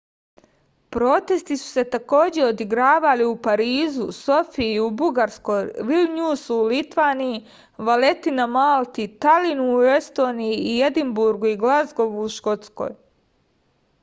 protesti su se takođe odigravali u parizu sofiji u bugarskoj vilnjusu u litvaniji valeti na malti talinu u estoniji i edinburgu i glazgovu u škotskoj